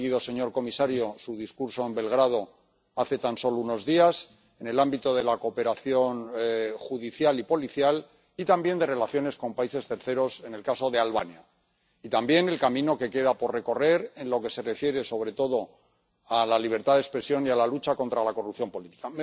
Hemos seguido, señor comisario, su discurso en Belgrado, hace tan solo unos días, en el ámbito de la cooperación judicial y policial y también de las relaciones con terceros países —en el caso de Albania—, y también el camino que queda por recorrer en lo que se refiere sobre todo a la libertad de expresión y a la lucha contra la corrupción política.